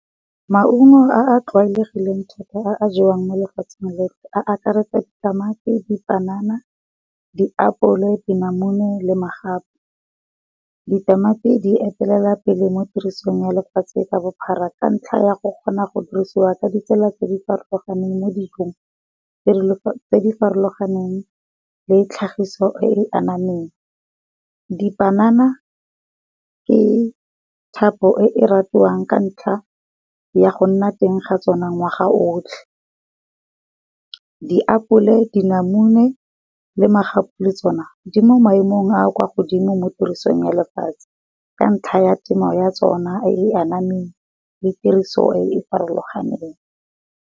Maungo a a tlwaelegileng thata a a jewang mo lefatsheng le, a akaretsa di tamati, di panana, di apole, dinamune le magapu. Di tamati di etelela pele mo tirisong ya lefatshe ka bophara ka ntlha ya go kgona go dirisiwa ka ditsela tse di farologaneng mo dijong tse di farologaneng le tlhagiso e di anamang. Dipanana ke thapo e ratiwang ka ntlha ya go nna teng ga tsona ngwaga o otlhe. Di apole, di namune le magapu le tsona di mo maemong a a kwa godimo mo tirisong ya lefatshe, ka ntlha ya temo ya tsona e anamang le tiriso e e farologaneng.